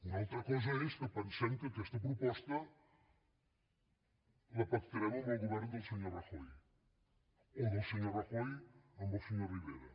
una altra cosa és que pensem que aquesta proposta la pactarem amb el govern del senyor rajoy o del senyor rajoy amb el senyor rivera